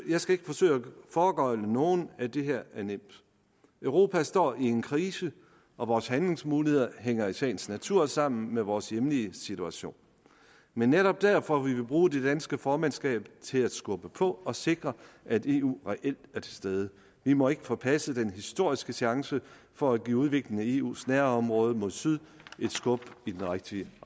skal ikke forsøge at foregøgle nogen at det her er nemt europa står i en krise og vores handlingsmuligheder hænger i sagens natur sammen med vores hjemlige situation men netop derfor vil vi bruge det danske formandskab til at skubbe på og sikre at eu reelt er til stede vi må ikke forpasse den historiske chance for at give udviklingen i eus nærområde mod syd et skub i den rigtige